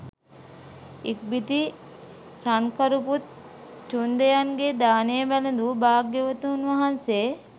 ඉක්බිති රන්කරුපුත් චුන්දයන්ගේ දානය වැළඳු භාග්‍යවතුන් වහන්සේ